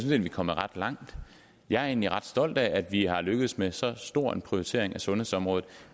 vi er kommet ret langt jeg er egentlig ret stolt af at vi har lykkedes med så stor en prioritering af sundhedsområdet